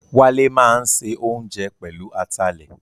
Wálé máa ń se oúnjẹ pẹ̀lú atalẹ̀